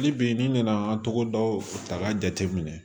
Hali bi n'i nana an tɔgɔ daw ta k'a jate minɛ